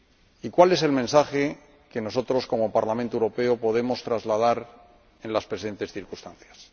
¿Y cuál es el mensaje que nosotros, como Parlamento Europeo, podemos trasladar en las presentes circunstancias?